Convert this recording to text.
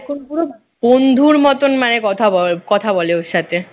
এখন পুরো বন্ধুর মতন মানে কথা বলে কথা বলে ওর সাথে